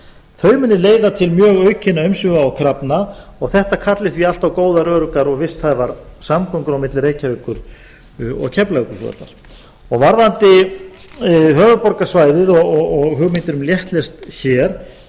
þau munu leiða til mjög mikilla umsvifa og krafna og þetta kalli því allt á góðar öruggar og visthæfar samgöngur á milli reykjavíkur og keflavíkurflugvallar varðandi höfuðborgarsvæðið og hugmyndir um léttlest hér